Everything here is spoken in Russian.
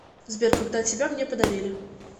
сбер когда тебя мне подарили